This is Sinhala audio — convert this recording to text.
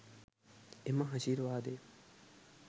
එම ආශිර්වාදය